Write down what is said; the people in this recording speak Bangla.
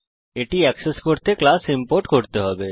এটি অ্যাক্সেস করতে সেই ক্লাস ইম্পোর্ট করতে হবে